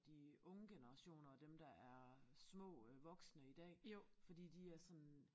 De unge generationer og dem der er små øh voksne i dag fordi de er sådan